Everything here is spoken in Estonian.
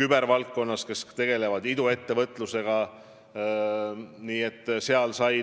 kübervaldkonnaga, kes tegelevad iduettevõtlusega.